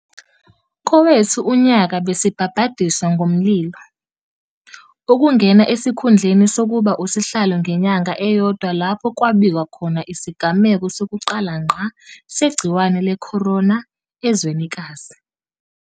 Kowethu unyaka besibhabhadiswa ngomlilo, ukungena esikhundleni sokuba uSihlalo ngenyanga eyodwa lapho kwabikwa khona isigameko sokuqala ngqa segciwane le-corona ezwenikazi.